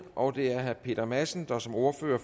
og det er herre peter madsen der som ordfører